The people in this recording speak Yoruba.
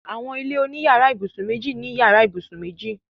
Àwọn ilé oní yàrá-ìbùsùn méjì ní yàrá ìbùsùn méjì.